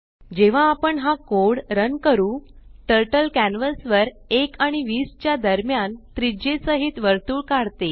जेव्हा आपण हा कोड रन करू टर्टल कॅन्वस वर 1आणि 20च्या दरम्यान त्रिज्ये सहित वर्तुळ काढते